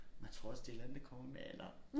Men jeg tror også det et eller andet der kommer med alderen